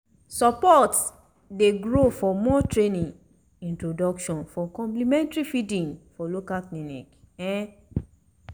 support dey grow for more training on introduction of complementary feeding for local clinic um